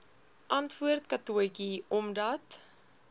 antwoord katotjie omdat